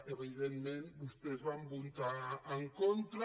evidentment vostès hi van votar en contra